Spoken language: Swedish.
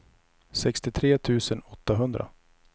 sextiotre tusen åttahundra